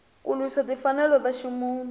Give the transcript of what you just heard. ku lwisa timfanelo ta ximunhu